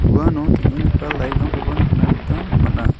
uano teng·enggipa light-rangkoba nikna gita man·a.